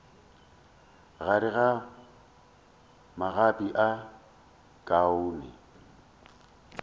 gare ga magapi a khoune